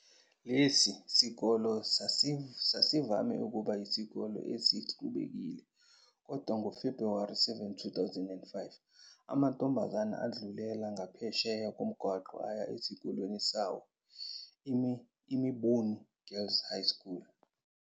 Lesi sikole sasivame ukuba yisikole esixubekile kodwa ngoFebhuwari 7, 2005, amantombazane adlulela ngaphesheya komgwaqo aya esikoleni sawo, iMumbuni Girls High School.